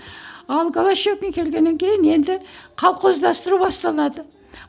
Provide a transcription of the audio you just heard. ал голощёкин келгеннен кейін енді колхоздастыру басталады